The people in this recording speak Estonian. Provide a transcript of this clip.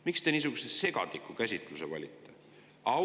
Miks te niisuguse segase käsitluse valite?